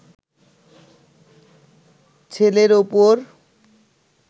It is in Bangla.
ছেলের ওপর